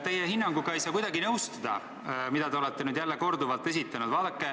Teie hinnanguga ei saa kuidagi nõustuda – sellega, mida te olete nüüd korduvalt esitanud.